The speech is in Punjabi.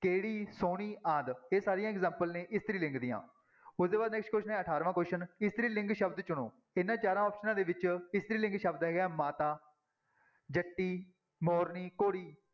ਕਿਹੜੀ, ਸੋਹਣੀ ਆਦਿ ਇਹ ਸਾਰੀਆਂ example ਨੇ ਇਸਤਰੀ ਲਿੰਗ ਦੀਆਂ ਉਹਦੇ ਬਾਅਦ next question ਹੈ ਅਠਾਰਵਾਂ question ਇਸਤਰੀ ਲਿੰਗ ਸ਼ਬਦ ਚੁਣੋ, ਇਹਨਾਂ ਚਾਰਾਂ ਆਪਸਨਾਂ ਦੇ ਵਿੱਚ ਇਸਤਰੀ ਲਿੰਗ ਸ਼ਬਦ ਹੈਗਾ ਮਾਤਾ ਜੱਟੀ, ਮੋਰਨੀ, ਘੋੜੀ।